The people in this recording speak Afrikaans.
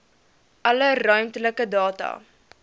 alle ruimtelike data